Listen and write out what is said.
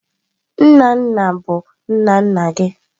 Nna nna bụ nna nna gị.